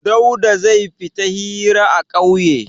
Dauda zai fita hira a ƙauye.